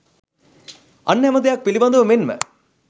අන් හැමදෙයක් පිළිබඳව මෙන්ම